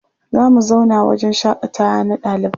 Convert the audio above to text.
Za mu zauna wahjen shaƙatawa na ɗalibai.